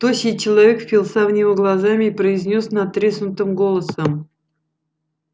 тощий человек впился в него глазами и произнёс надтреснутым голосом